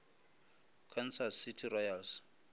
kansas city royals